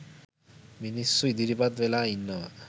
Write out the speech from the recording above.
මිනිස්‌සු ඉදිරිපත් වෙලා ඉන්නවා.